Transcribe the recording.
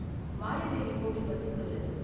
மாயாதேவி கோவில் பத்தி சொல்லு.